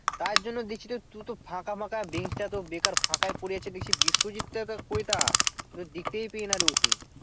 তার জন্য দেখছি তো তু তো ফাঁকা ফাঁকা দিনটা তো বেকার ফাঁকাই পরে আছি দেখছি বিশ্বজিৎ টা আবার কয় তা দেখতেই পেয়েনা ওকে